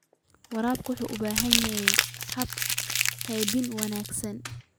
Waraabka waxa uu u baahan yahay hab-qaybin wanaagsan.